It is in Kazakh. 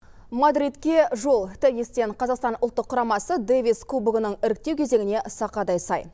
мадридке жол теннистен қазақстан ұлттық құрамасы дэвис кубогының іріктеу кезеңіне сақадай сай